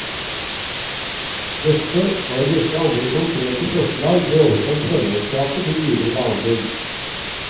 Dette, og en rekke andre konkrete forslag ble oversendt formannskapet til videre behandling.